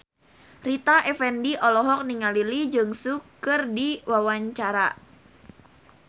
Rita Effendy olohok ningali Lee Jeong Suk keur diwawancara